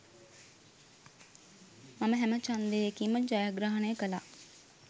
මම හැම ඡන්දයකින්ම ජයග්‍රහණය කළා